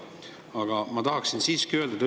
Aga ma tahaksin siiski öelda seda.